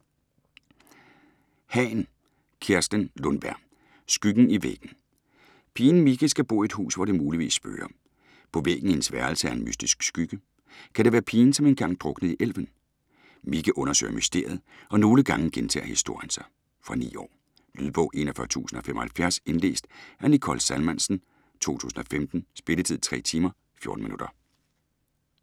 Hahn, Kerstin Lundberg: Skyggen i væggen Pigen Micke skal bo i et hus, hvor det muligvis spøger. På væggen i hendes værelse er en mystisk skygge. Kan det være pigen, som engang druknede i elven? Micke undersøger mysteriet - og nogle gange gentager historien sig... Fra 9 år. Lydbog 41075 Indlæst af Nicole Salmansen, 2015. Spilletid: 3 timer, 14 minutter.